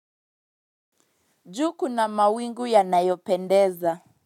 Juu kuna mawingu yanayopendeza.